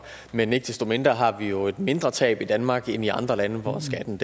men ikke desto mindre har vi jo et mindre tab i danmark end i andre lande hvor skatten